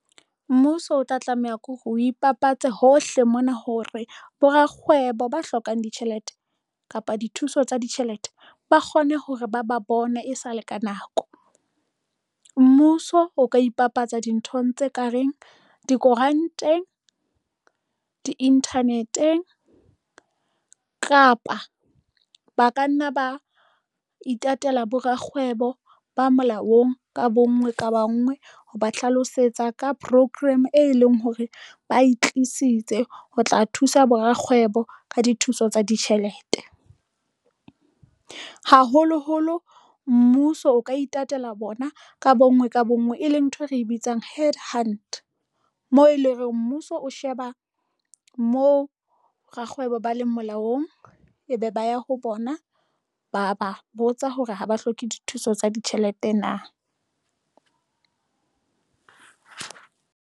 Mmuso o tla tlameha ke hore, o ipapatsa hohle mona hore bo rakgwebo ba hlokang ditjhelete kapa dithuso tsa ditjhelete ba kgone hore ba ba bone e sale ka nako. Mmuso o ka ipapatsa dinthong tse ka reng dikoranteng di-internet-eng kapa ba ka nna ba itatela bo rakgwebo ba molaong ka bonngwe ka bangwe. Ho ba hlalosetsa ka program e leng hore ba e tlisitse ho tla thusa bo rakgwebo ka dithuso tsa ditjhelete, haholoholo mmuso o ka itatela bona ka bonngwe ka bonngwe, e leng ntho e re bitsang head hunt moo e leng reng mmuso o sheba moo rakgwebo ba leng molaong ebe ba ya ho bona, ba ba botsa hore ha ba hloke dithuso tsa ditjhelete.